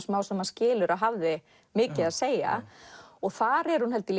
smám saman skilur að hafði mikið að segja þar er hún held ég